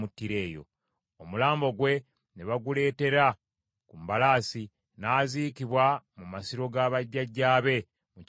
Omulambo gwe ne baguleetera ku mbalaasi, n’aziikibwa mu masiro ga bajjajjaabe mu kibuga kya Yuda.